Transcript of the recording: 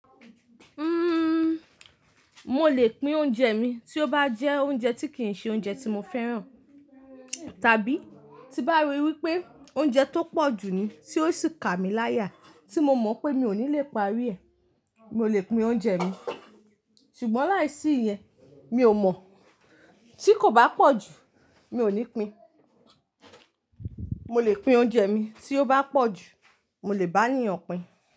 Uhm, mo lè pín oúnjẹ mi tí ó bá jẹ́ oúnjẹ tí kì ń ṣe oúnjẹ tí mo fẹ́ràn, tàbí tí bá rí wí pé oúnjẹ tó pọ̀ jú ní, tí ó sì kà mí láyà, tí mo mọ̀ pé mi ò ní lè parí ẹ̀, mo lè pín oúnjẹ mi. Ṣùgbọ́n láìsí ìyẹn mi ò mọ̀. Tí kò bá pọ̀ jú mi ò ní pín. Mo lè pín oúnjẹ mi, tí ó bá pọ̀ jú mo lè bá ènìyàn pín.